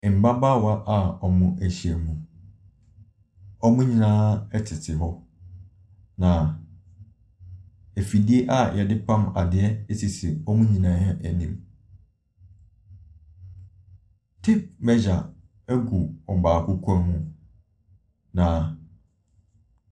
Mmabaawa bi wɔahyia mu. Wɔn nyinaa ɛtete hɔ. Na afidie a yɛde pam adeɛ sisi wɔn nyinaa anim. Tape measure gu ɔbaako kɔn mu na .